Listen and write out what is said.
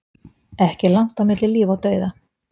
Ekki er langt á milli líf og dauða.